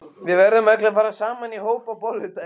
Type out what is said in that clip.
Við verðum öll að fara saman í hóp á bolludaginn.